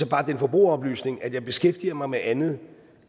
bare den forbrugeroplysning at jeg beskæftiger mig med andet